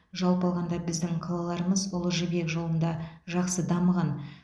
жалпы алғанда біздің қалаларымыз ұлы жібек жолында жақсы дамыған